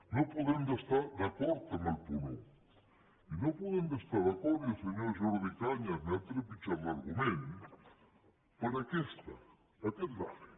no podem estar d’acord amb el punt un i no hi podem estar d’acord i el senyor jordi cañas m’ha trepitjat l’argument per aquest gràfic